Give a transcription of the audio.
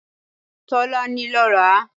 Tọ́lá ni ló ra